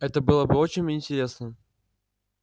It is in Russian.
это было бы очень интересно